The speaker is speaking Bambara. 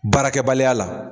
Baarakɛbaliya la.